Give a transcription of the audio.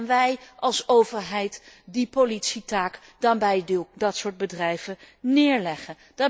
En gaan wij, als overheid, die politietaak dan bij dat soort bedrijven neerleggen?